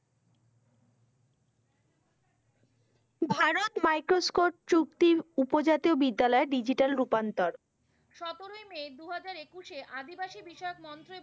ভারত চুক্তির উপজাতীয় বিদ্যালয়ে digital রূপান্তর। সতেরই মে দু হাজার একুশে আদিবাসী বিষয়ক মন্ত্রে